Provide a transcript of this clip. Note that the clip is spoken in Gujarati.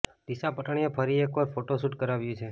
દિશા પટણીએ ફરી એકવાર હોટ ફોટોશૂટ કરાવ્યું છે